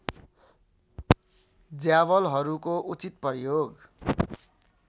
ज्यावलहरूको उचित प्रयोग